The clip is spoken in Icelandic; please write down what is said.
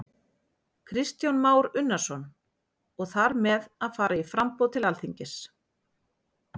Kristján Már Unnarsson: Og þar með að fara í framboð til Alþingis?